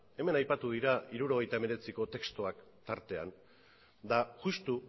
hemen aipatu dira mila bederatziehun eta hirurogeita hemezortziko testuak tartean eta justu